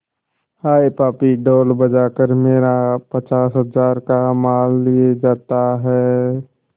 हाय पापी ढोल बजा कर मेरा पचास हजार का माल लिए जाता है